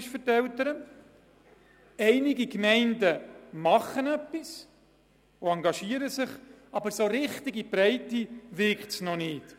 Es gibt Gemeinden, die ein Angebot bereitstellen und sich engagieren, aber in die Breite wirkt es noch nicht.